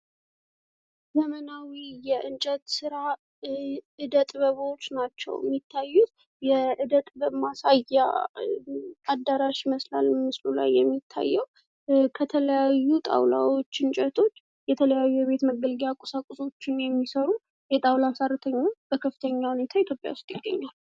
ዘማናዊ የእንጨት ስራ የእደጥበብ ውጤቶች ይታያሉ በምስሉ ላይ። የእደጥበብ ውጤት ባለሙያወች በብዛት ኢትዮጵያ ውስጥ ይገኛሉ።